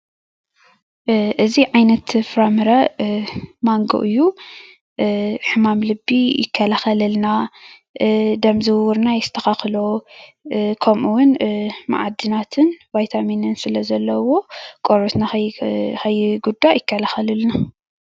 እዚ ዓይነት ፍራ ምረ ማንጎ እዩ፡፡ ሕማማት ልቢ ይከላከለልና ደም ዝውውርና የስተካክሎ ከምኡ እውን ማዕድናትን ቫይታሚንን ስለ ዘለዎ ቆርበትና ንከይጉዳእ ይከላከለልና፡፡